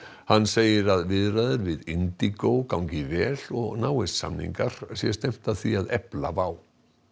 hann segir að viðræður við gangi vel og náist samningar sé stefnt að því að efla WOW